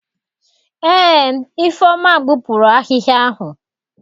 Eé, Ifeoma gbupuru ahịhịa ahụ.